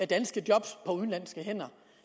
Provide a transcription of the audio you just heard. danske job på udenlandske hænder